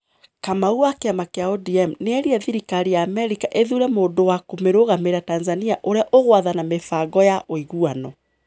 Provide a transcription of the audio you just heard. Kamau, wa kiama kĩa ODM, nĩ ĩrire thirikari ya Amerika ĩthuure mũndũ wa kũmĩrũgamĩrĩra Tanzania ũrĩa ũgũathana mĩbango ya ũiguano.